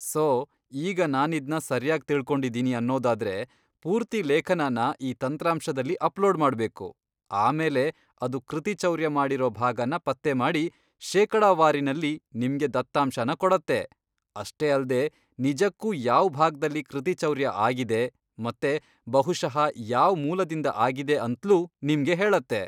So, ಈಗ ನಾನಿದ್ನ ಸರ್ಯಾಗ್ ತಿಳ್ಕೊಂಡಿದಿನಿ ಅನ್ನೊದಾದ್ರೆ, ಪೂರ್ತಿ ಲೇಖನನ ಈ ತಂತ್ರಾಂಶದಲ್ಲಿ ಅಪ್ಲೋಡ್ ಮಾಡ್ಬೇಕು, ಆಮೇಲೆ ಅದು ಕೃತಿಚೌರ್ಯ ಮಾಡಿರೋ ಭಾಗನ ಪತ್ತೆ ಮಾಡಿ, ಶೇಕಡಾವಾರಿನಲ್ಲಿ ನಿಮ್ಗೆ ದತ್ತಾಂಶನ ಕೊಡತ್ತೆ, ಅಷ್ಟೇ ಅಲ್ದೇ ನಿಜಕ್ಕೂ ಯಾವ್ ಭಾಗ್ದಲ್ಲಿ ಕೃತಿಚೌರ್ಯ ಆಗಿದೆ ಮತ್ತೆ ಬಹುಶಃ ಯಾವ್ ಮೂಲದಿಂದ ಆಗಿದೆ ಅಂತ್ಲೂ ನಿಮ್ಗೆ ಹೇಳತ್ತೆ.